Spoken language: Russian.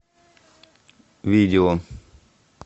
видео